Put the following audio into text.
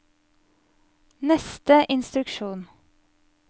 neste instruksjon